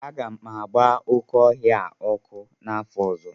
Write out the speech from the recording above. Aga m agba oke ọhịa a ọkụ n'afor ozo